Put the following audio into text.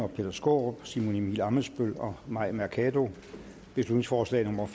peter skaarup simon emil ammitzbøll og mai mercado beslutningsforslag nummer